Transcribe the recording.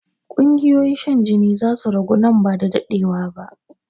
Ƙungiyoyin shan jini zasu ragu nan ba da daɗewa ba